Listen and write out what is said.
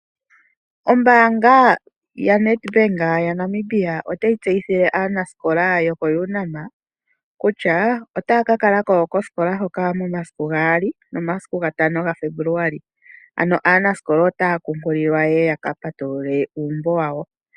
Ombaanga yaNEdbank yaNamibia otayi tseyithile aanasikola yokoUNAM kutya otaya ka kala moshiputudhilo shoka momasiku 2 noshowo 5 gaFebuluali. Ano aanasikola otaya kunkililwa opo ya ka patulule uumbo wawo.